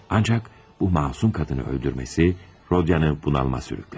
Ancak bu masum kadını öldürmesi, Rodyan'ı bunalıma sürükler.